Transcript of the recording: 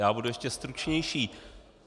Já budu ještě stručnější.